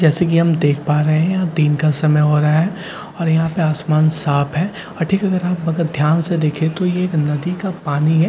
जैसा कि हम देख पा रहे हैं यहां दिन का समय हो रहा है और यहां पे आसमान साफ है और ठीक है हम अगर आप ध्यान से देखें तो ये एक नदी का पानी है।